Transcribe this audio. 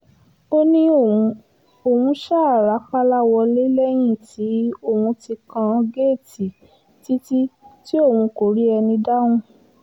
ó ní òun òun ṣáà rápálá wọlé lẹ́yìn tí òun ti kan géètì títí tí òun kò rí ẹni dáhùn